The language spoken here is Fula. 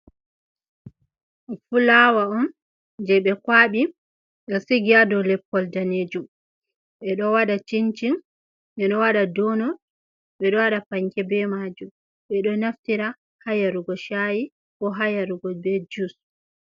Fulawa on je be kwaɓi, ɓe sigi ha dau leppol danejum. Ɓe ɗo wada cincin, ɓe ɗo wada donut, ɓe ɗo waɗa panke be majum. Ɓe ɗo naftira ha yarugo shayi bo ha yarugo be juice.